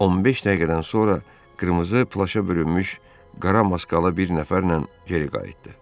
15 dəqiqədən sonra qırmızı plaşa bürünmüş qara maskalı bir nəfərlə geri qayıtdı.